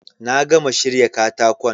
Na gama shirya katakon